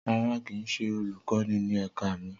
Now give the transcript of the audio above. Rara, kii ṣe olukọni ni ẹka mi.